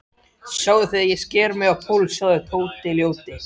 Sjáðu þegar ég sker mig á púls, sjáðu, Tóti ljóti.